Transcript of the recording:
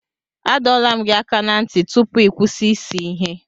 Adọla m gị aka na ntị tupu ị kwụsị ịse ihe.